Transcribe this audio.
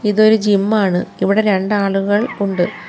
ഇതൊരു ജിമ്മാണ് ഇവടെ രണ്ടാളുകൾ ഉണ്ട്.